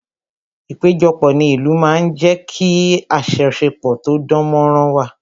Ìpéjọpọ̀ ní ìlú máa ń jé kí ajosepo tó dán mó rán wà